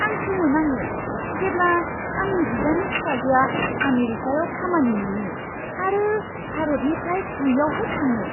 आं सोमोनाङो जेब्ला आंनि बिदानि फिसाजोआ आमेरिकायाव खामानि मोनो आरो भारतनिफ्राय बैयावहाय थाङो!